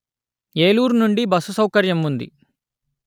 ఏలూరు నుండి బస్సు సౌకర్యం ఉంది